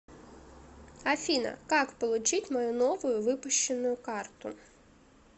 афина как получить мою новую выпущенную карту